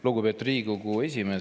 Lugupeetud Riigikogu esimees!